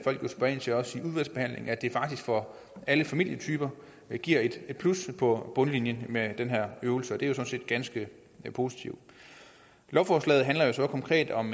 jo også i udvalgsbehandlingen at det faktisk for alle familietyper giver et plus på bundlinjen med den her øvelse det er jo sådan set ganske positivt lovforslaget handler jo så konkret om